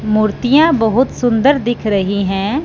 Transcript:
मूर्तियां बहुत सुंदर दिख रही हैं।